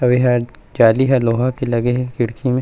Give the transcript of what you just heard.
अउ एहा जाली ह लोहा के लगे हे खिड़की मे--